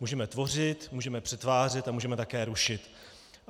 Můžeme tvořit, můžeme přetvářet a můžeme také rušit.